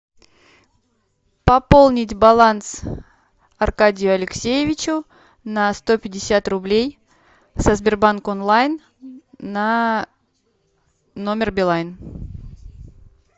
пополнить баланс аркадию алексеевичу на сто пятьдесят рублей со сбербанк онлайн на номер билайн